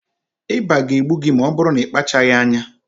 Ịba ga-egbu gị ma ọ bụrụ na ị kpachaghị anya